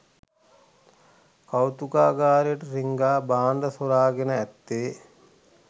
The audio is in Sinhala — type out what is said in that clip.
කෞතුකාගාරයට රිංගා භාණ්ඩ සොරාගෙන ඇත්තේ